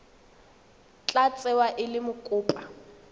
tla tsewa e le mokopa